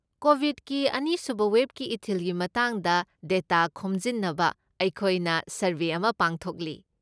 ꯀꯣꯕꯤꯗꯀꯤ ꯑꯅꯤꯁꯨꯕ ꯋꯦꯕꯀꯤ ꯏꯊꯤꯜꯒꯤ ꯃꯇꯥꯡꯗ ꯗꯦꯇꯥ ꯈꯣꯝꯖꯤꯟꯅꯕ ꯑꯩꯈꯣꯏꯅ ꯁꯔꯋꯦ ꯑꯃ ꯄꯥꯡꯊꯣꯛꯂꯤ ꯫